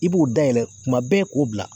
I b'o dayɛlɛ tuma bɛɛ k'o bila.